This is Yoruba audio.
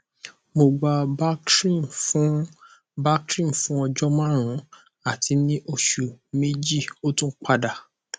mo gba bactrim fun bactrim fun ọjọ marun ati ni oṣu meji o tun pada